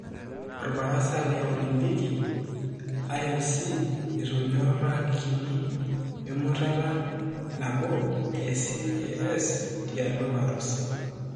Obarasa le Olimpiki IOC''etuenyorakini''wemutata nabo e CAS tialo Warusi.